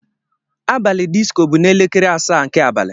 Abalị disco bụ n'elekere asaa nke abalị.